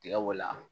Tiga bɔ la